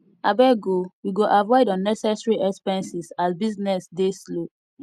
abeg o we go avoid unnecessary expenses as business dey slow